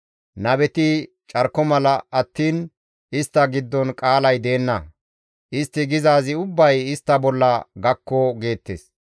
Nabeti carko mala attiin istta giddon qaalay deenna; istti gizaazi ubbay istta bolla gakko» geettes.